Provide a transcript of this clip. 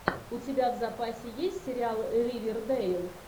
у тебя в запасе есть сериал ривердэйл